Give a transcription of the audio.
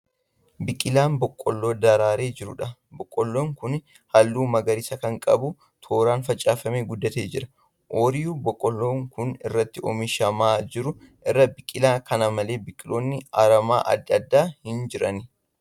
Biqilaa boqqolloo daraaree jiruudha. Boqqolloon kun halluu magariisa kan qabu tooraan facaafamee guddatee jira. Oyiruu boqqolloon kun irratti oomishamaa jiru irra biqilaa kana malee biqiloonni aramaa adda addaa hin jirani.